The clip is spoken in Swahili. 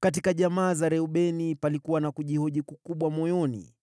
Kwa jamaa za Reubeni, palikuwa na kujihoji kukubwa moyoni.